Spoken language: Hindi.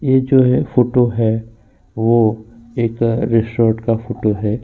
ये जो है फोटो है वो एक रेस्टोरेंट का फोटो है।